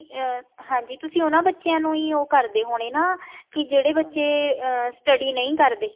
ਤੁਸੀਂ ਉਹਨਾ ਬੱਚਿਆਂ ਨੂੰ ਵੀ ਉਹ ਕਰਦੇ ਹੋਣੇ ਨਾ ਕੀ ਜਿਹੜੇ ਬੱਚੇ ਅਮ study ਨਹੀਂ ਕਰਦੇ ਹੈਗੇ